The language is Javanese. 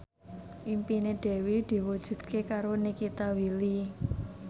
impine Dewi diwujudke karo Nikita Willy